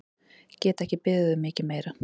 Get ekki beðið um mikið meira!